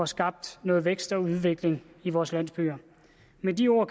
skabt noget vækst og udvikling i vores landsbyer med de ord